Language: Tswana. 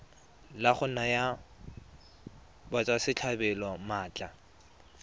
la go naya batswasetlhabelo maatla